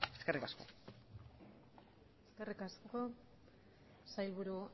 eskerrik asko eskerrik asko sailburu